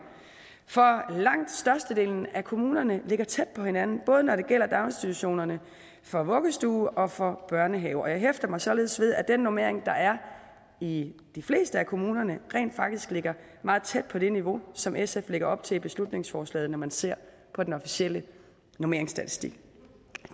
for langt størstedelen af kommunerne ligger tæt på hinanden både når det gælder daginstitutionerne for vuggestue og for børnehave jeg hæfter mig således ved at den normering der er i de fleste af kommunerne rent faktisk ligger meget tæt på det niveau som sf lægger op til i beslutningsforslaget når man ser på den officielle normeringsstatistik